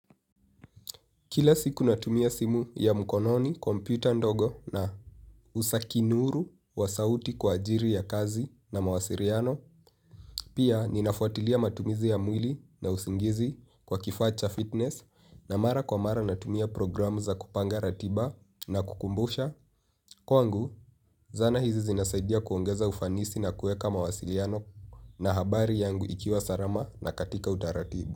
Kila siku natumia simu ya mkononi, komputa ndogo na usakinuru wa sauti kwa ajili ya kazi na mawasiliano, pia ninafuatilia matumizi ya mwili na usingizi kwa kifaa cha fitness na mara kwa mara natumia program za kupanga ratiba na kukumbusha. Kwangu, zana hizi zinasaidia kuongeza ufanisi na kuweka mawasiliano na habari yangu ikiwa salama na katika utaratibu.